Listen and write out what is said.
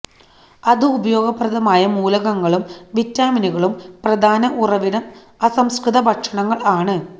അതു ഉപയോഗപ്രദമായ മൂലകങ്ങളും വിറ്റാമിനുകളും പ്രധാന ഉറവിടം അസംസ്കൃത ഭക്ഷണങ്ങൾ ആണ്